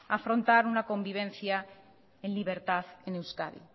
afrontar una convivencia en libertad en euskadi